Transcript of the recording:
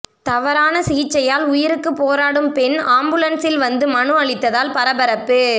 தவறான சிகிச்சையால் உயிருக்கு போராடும் பெண் ஆம்புலன்சில் வந்து மனு அளித்ததால் பரபரப்பு